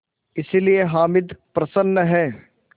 इसलिए हामिद प्रसन्न है